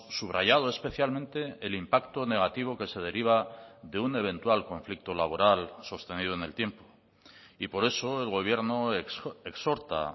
subrayado especialmente el impacto negativo que se deriva de un eventual conflicto laboral sostenido en el tiempo y por eso el gobierno exhorta